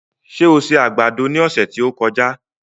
Ṣé o se àgbàdo ní ọ̀sẹ̀ tí ó kọjá?